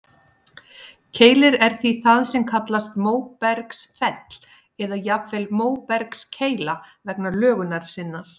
Keilir er því það sem kallast móbergsfell, eða jafnvel móbergskeila vegna lögunar sinnar.